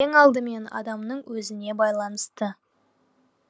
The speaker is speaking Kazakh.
ең алдымен адамның өзіне байланысты